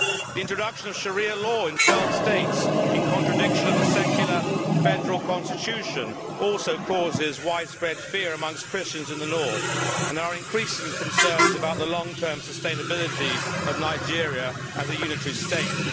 The introduction of Sharia law in 12 states, in contradiction of the secular, federal constitution, also causes widespread fear amongst Christians in the north and there are increasing concerns about the long term sustainability of Nigeria as a unitary state.